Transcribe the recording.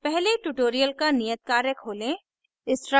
पहले tutorial का नियत कार्य खोलें